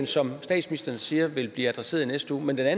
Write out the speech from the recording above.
som statsministeren siger vil blive adresseret i næste uge men der er